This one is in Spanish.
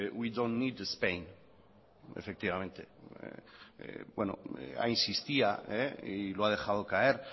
we dont need spain ahí insistía y lo ha dejado caer